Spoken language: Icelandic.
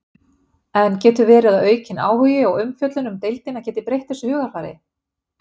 En getur verið að aukin áhugi og umfjöllun um deildina geti breytt þessu hugarfari?